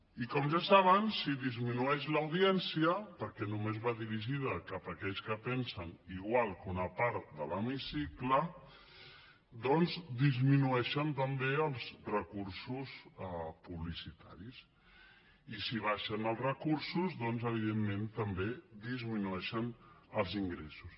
i com ja saben si disminueix l’audiència perquè només va dirigida cap a aquells que pensen igual que una part de l’hemicicle doncs disminueixen també els recursos publicitaris i si baixen els recursos evidentment també disminueixen els ingressos